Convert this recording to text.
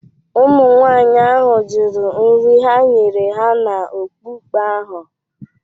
Ụmụnwaanyị ahụ jụrụ nri ha nyere ha n’okpukpe ahụ.